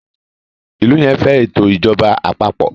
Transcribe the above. ilú yén fé eto ìjọba àpapọ̀